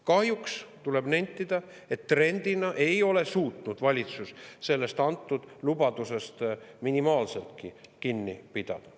Kahjuks tuleb nentida, et trendina ei ole valitsus suutnud sellest antud lubadusest minimaalseltki kinni pidada.